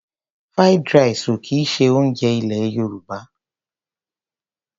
Fried rice ò kì í ṣe oúnjẹ ilẹ̀ Yorùbá.